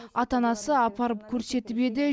ата анасы апарып көрсетіп еді